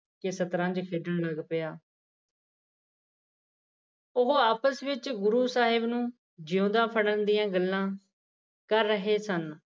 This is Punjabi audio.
ਕੇ ਸ਼ਤਰੰਜ ਖੇਡਣ ਲਗ ਪਿਆ ਉਹ ਆਪਸ ਵਿੱਚ ਗੁਰੂ ਸਾਹਿਬ ਨੂੰ ਜਿਉਂਦੀਆ ਫੜਣ ਦੀਆਂ ਗੱਲਾ ਕਰ ਰਹੇ ਸਨ